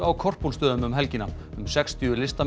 á Korpúlfsstöðum um helgina um sextíu listamenn